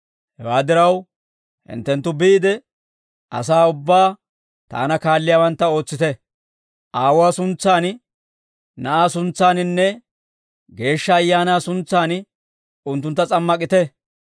Hewaa diraw, hinttenttu biide, asaa ubbaa taana kaalliyaawantta ootsite; Aawuwaa suntsaan, Na'aa suntsaaninne Geeshsha Ayaanaa suntsaan unttuntta s'ammak'ite.